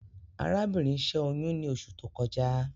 Arábìnrin ṣẹ́ oyún ní oṣù tó kọjá